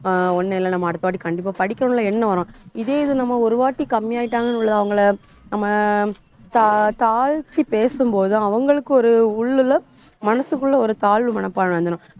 அஹ் ஒண்ணும் இல்ல நம்ம அடுத்த வாட்டி கண்டிப்பா படிக்கணும்னு எண்ணம் வரும். இதே இது நம்ம ஒரு வாட்டி கம்மி ஆயிட்டாங்கன்னு உள்ள அவங்கள நம்ம தா~ தாழ்த்தி பேசும்போது அவங்களுக்கு ஒரு உள்ளுல மனசுக்குள்ள ஒரு தாழ்வு மனப்பான்மை வந்துரும்